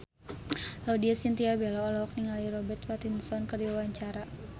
Laudya Chintya Bella olohok ningali Robert Pattinson keur diwawancara